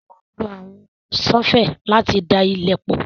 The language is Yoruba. Wọ́n máa ń lo àwọn ṣọ́fẹlì láti da ilẹ̀ pọ̣̀